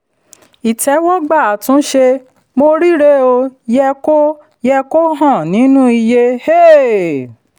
ìtẹ́wọ́gbà àtúnṣe um yẹ kó yẹ kó hàn nínú iye. um